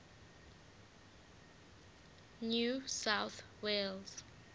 new south wales